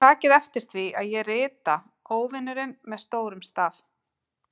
Og takið eftir því að ég rita Óvinurinn með stórum staf.